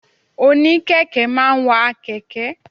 Òní kẹ̀kẹ́ máa ń wa kẹ̀kẹ́.